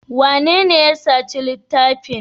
Wanene ya saci littafin?